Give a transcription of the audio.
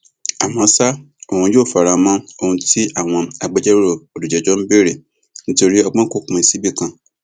àmọ ṣá òun yóò fara mọ ohun tí àwọn agbẹjọrò olùjẹjọ ń béèrè nítorí ọgbọn kò pín síbì kan